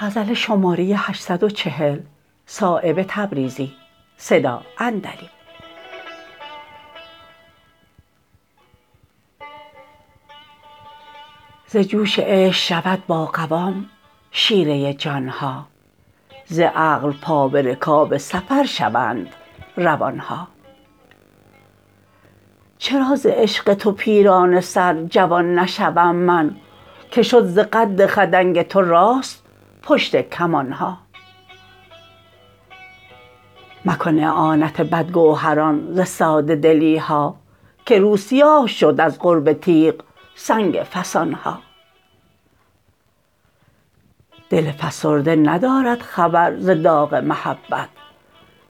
ز جوش عشق شود با قوام شیره جان ها ز عقل پا به رکاب سفر شوند روان ها چرا ز عشق تو پیرانه سر جوان نشوم من که شد ز قد خدنگ تو راست پشت کمان ها مکن اعانت بدگوهران ز ساده دلی ها که رو سیاه شد از قرب تیغ سنگ فسان ها دل فسرده ندارد خبر ز داغ محبت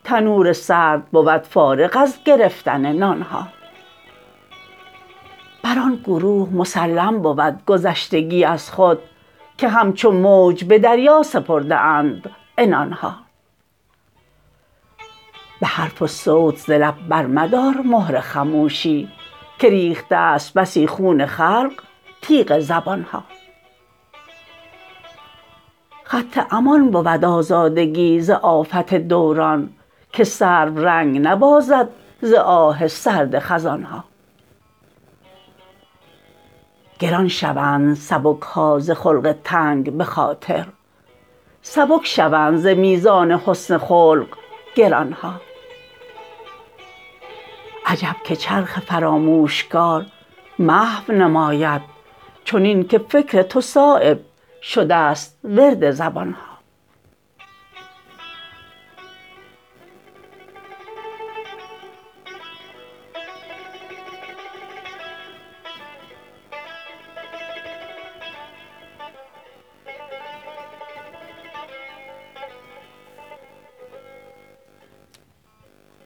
تنور سرد بود فارغ از گرفتن نان ها بر آن گروه مسلم بود گذشتگی از خود که همچو موج به دریا سپرده اند عنان ها به حرف و صوت ز لب برمدار مهر خموشی که ریخته است بسی خون خلق تیغ زبان ها خط امان بود آزادگی ز آفت دوران که سرو رنگ نبازد ز آه سرد خزان ها گران شوند سبک ها ز خلق تنگ به خاطر سبک شوند ز میزان حسن خلق گران ها عجب که چرخ فراموشکار محو نماید چنین که فکر تو صایب شده است ورد زبان ها